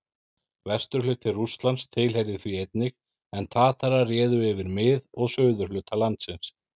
Vesturhluti Rússlands tilheyrði því einnig, en Tatarar réðu yfir mið- og suðurhluta landsins.